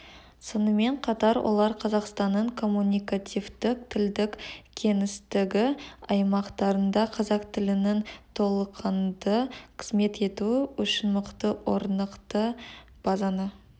сонымен қатар олар қазақстанның коммуникативтік-тілдік кеңістігі аймақтарында қазақ тілінің толыққанды қызмет етуі үшін мықты орнықты базаны